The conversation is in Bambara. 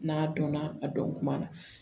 N'a dɔnna a dɔn kuma na